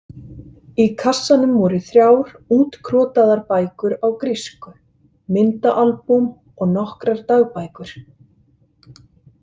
Í kassanum voru þrjár útkrotaðar bækur á grísku, myndaalbúm og nokkrar dagbækur.